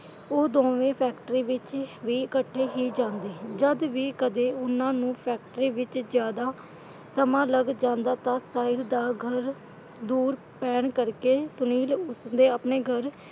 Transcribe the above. ਉਹ ਦੋਵੇਂ ਫੈਕਟਰੀ ਵਿੱਚ ਵੀ ਇਕੱਠੇ ਹੀ ਜਾਂਦੇ। ਜਦ ਵੀ ਕਦੇ ਉਨ੍ਹਾਂ ਨੂੰ ਫੈਕਟਰੀ ਵਿਚ ਜਿਆਦਾ ਸਮਾਂ ਲੱਗ ਜਾਂਦਾ ਤਾਂ ਸਾਹਿਲ ਦਾ ਘਰ ਦੂਰ ਪੈਣ ਕਰਕੇ ਸੁਨੀਲ ਉਸਦੇ ਆਪਣੇ ਘਰ,